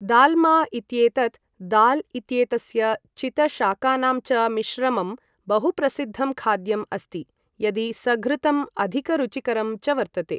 दाल्मा इत्येतत् दाल् इत्येतस्य चितशाकानां च मिश्रमम् बहुप्रसिद्धं खाद्यम् अस्ति, यदि सघृतम्, अधिक रुचिकरं च वर्तते।